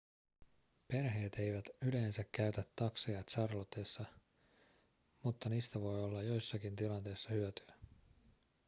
perheet eivät yleensä käytä takseja charlottessa mutta niistä voi olla joissakin tilanteissa hyötyä